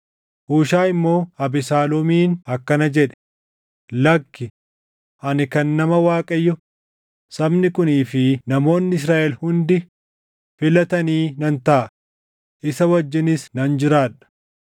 Huushaayi immoo Abesaaloomiin akkana jedhe; “Lakki; ani kan nama Waaqayyo, sabni kunii fi namoonni Israaʼel hundi filatanii nan taʼa; isa wajjinis nan jiraadha.